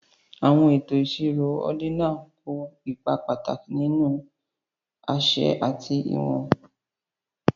àwọn ètò ìṣirò ordinal kó ipa pàtàkì nínú àṣẹ àti ìwọ̀n